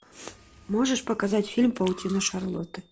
можешь показать фильм паутина шарлотты